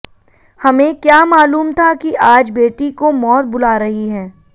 हमें क्या मालूम था की आज बेटी को मौत बुला रही हैं